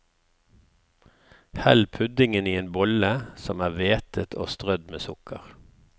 Hell puddingen i en bolle som er vætet og strødd med sukker.